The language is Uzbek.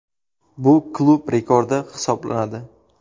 Bu klub rekordi hisoblanadi.